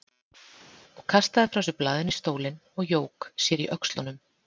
Og kastaði frá sér blaðinu í stólinn og jók sér í öxlunum.